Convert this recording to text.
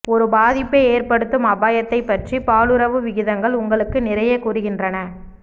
ஒரு பாதிப்பை ஏற்படுத்தும் அபாயத்தை பற்றி பாலுறவு விகிதங்கள் உங்களுக்கு நிறைய கூறுகின்றன